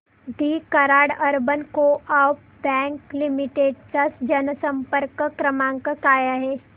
दि Karad urban coop bank limited चा जनसंपर्क क्रमांक काय आहे